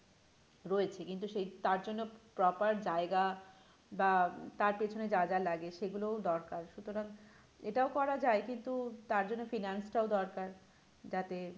রয়েছে কিন্তু সেই তার জন্য proper জায়গা বা তার পিছনে যা যা লাগে সেগুলোও দরকার সুতরাং এটাও করা যায় কিন্তু তার জন্য finance টাও দরকার যাতে